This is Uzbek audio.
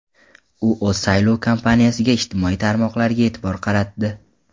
U o‘z saylov kampaniyasida ijtimoiy tarmoqlarga e’tibor qaratdi.